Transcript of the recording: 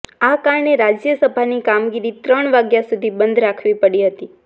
આ કારણે રાજ્યસભાની કામગીરી ત્રણ વાગ્યા સુધી બંધ રાખવી પડી હતી